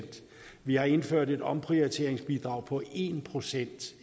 vi har indført et omprioriteringsbidrag på en procent